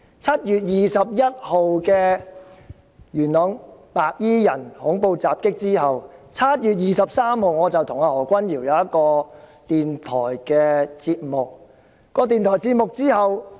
7月21日發生元朗白衣人的恐怖襲擊後，我在7月23日與何君堯議員出席一個電台節目。